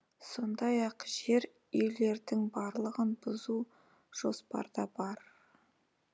сондай ақ жер үйлердің барлығын бұзу жоспарда бар